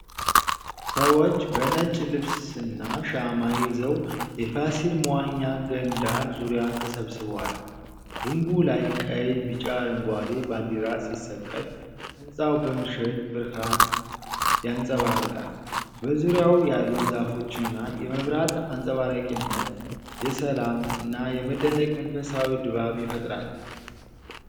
ሰዎች በነጭ ልብስና ሻማ ይዘው፣ የፋሲል መዋኛ ገንዳ ዙሪያ ተሰብስበዋል። ግምቡ ላይ ቀይ፣ ቢጫ፣ አረንጓዴ ባንዲራ ሲሰቀል፣ ሕንፃው በምሽት ብርሃን ያንጸባርቃል። በዙሪያው ያሉት ዛፎችና የመብራት አንጸባራቂነት፣ የሰላም እና የመደነቅ መንፈሳዊ ድባብ ይፈጥራል።